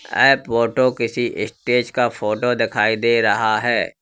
ऐ photo किसी stage का photo दिखाई दे रहा है।